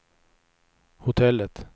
hotellet